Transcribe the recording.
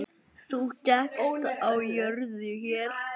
Þú gekkst á jörðu hér.